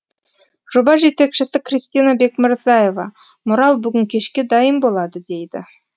жоба жетекшісі кристина бекмырзаева мурал бүгін кешке дайын болады дейді